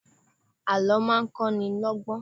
Àlọ́ máa ń kọ́ ni lọ́gbọ́n